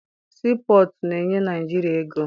Sii pọtụ na-enye Naịjirịa ego.